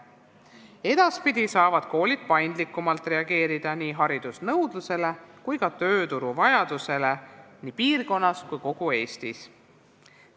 Edaspidi saavad koolid paindlikumalt reageerida nii haridusnõudlusele kui ka tööturu vajadustele piirkonnas ja kogu Eestis.